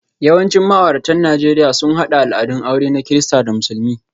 Yawancin ma'auratan Najeriya sun haɗa al'adun aure na Kirista da Musulmi,